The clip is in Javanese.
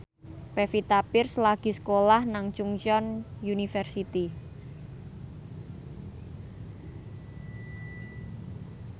Pevita Pearce lagi sekolah nang Chungceong University